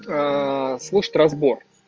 слушать разбор